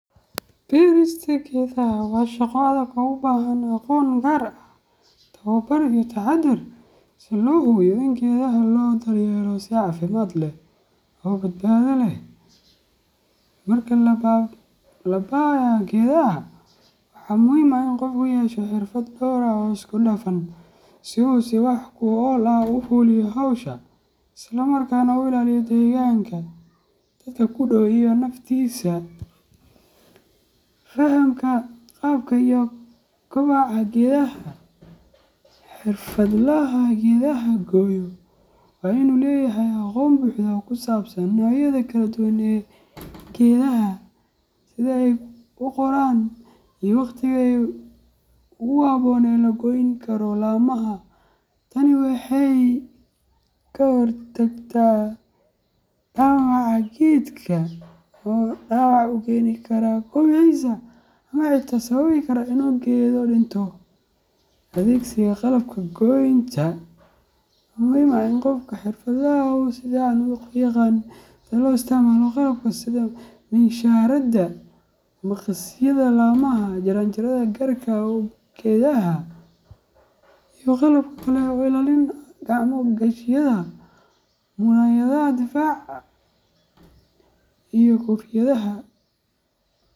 Berista geedaha waa shaqo adag oo u baahan aqoon gaar ah, tababar, iyo taxadar si loo hubiyo in geedaha loo daryeelo si caafimaad leh oo badbaado leh. Marka la labayo geedaha, waxaa muhiim ah in qofku yeesho xirfado dhowr ah oo isku dhafan si uu si wax ku ool ah u fuliyo hawsha, isla markaana u ilaaliyo deegaanka, dadka ku dhow, iyo naftiisa. Fahamka Qaabka iyo Kobaca Geedaha:Xirfadlaha geedaha gooya waa inuu leeyahay aqoon buuxda oo ku saabsan noocyada kala duwan ee geedaha, sida ay u koraan, iyo waqtiga ugu habboon ee la goyn karo laamaha. Tani waxay ka hortagtaa dhaawaca geedka oo dhaawac u keeni kara kobociisa ama xitaa sababi kara inuu geedo dhinto. Adeegsiga Qalabka Goynta:Waxaa muhiim ah in qofka xirfadlaha ah uu si fiican u yaqaan sida loo isticmaalo qalabka sida miinshaarada maqasyada laamaha, jaranjarada gaarka u ah geedaha, iyo qalab kale oo ilaalin ah sida gacmo gashiyada, muraayadaha difaaca, iyo koofiyadaha.